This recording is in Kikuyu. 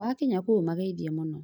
Wakinya kũu ũmagethie mũno